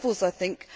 I think